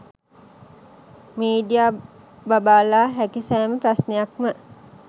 media බබාලා හැකි සෑම ප්‍රශ්ණයක්ම